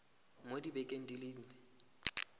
mo dibekeng di le nne